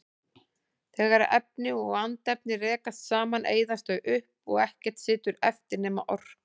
Þegar efni og andefni rekast saman eyðast þau upp og ekkert situr eftir nema orkan.